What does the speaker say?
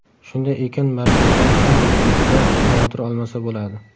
Shunday ekan markazdan ham muxlislar xavotir olmasa bo‘ladi.